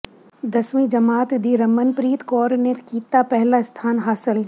ਦਸਵੀਂ ਜਮਾਤ ਦੀ ਰਮਨਪ੍ਰੀਤ ਕੌਰ ਨੇ ਕੀਤਾ ਪਹਿਲਾ ਸਥਾਨ ਹਾਸ਼ਲ